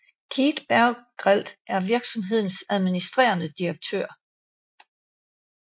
Keith Bergelt er virksomhedens administrerende direktør